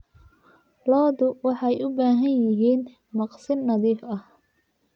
Lo'du waxay u baahan yihiin maqsin nadiif ah.